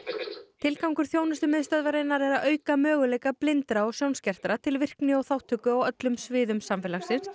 tilgangur þjónustumiðstöðvarinnar er að auka möguleika blindra og sjónskertra til virkni og þátttöku á öllum sviðum samfélagsins